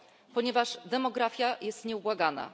Ponieważ demografia jest nieubłagana.